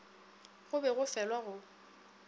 go be go felwa go